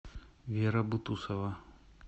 вера бутусова